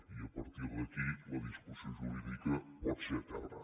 i a partir d’aquí la discussió jurídica pot ser eterna